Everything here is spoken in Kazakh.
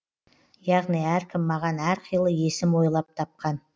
яғни әркім маған әр қилы есім ойлап тапқан